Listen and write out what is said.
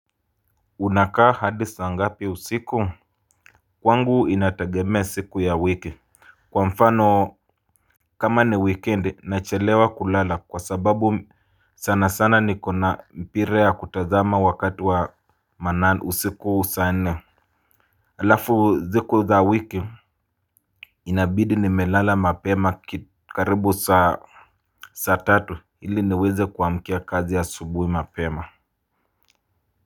Unakaa hadi saa ngapi usiku kwangu inatagemea siku ya wiki. Kwa mfano kama ni wikendi nachelewa kulala kwa sababu sana sana nikona mpira ya kutazama wakati wa manane usiku saa nne halafu siku za wiki inabidi nimelala mapema karibu saa saa tatu ili niweze kuamkia kazi asubuhi mapema.